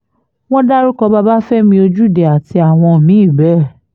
wọ́n dárúkọ babafẹ́mi ojúde àti àwọn mí-ín bẹ́ẹ̀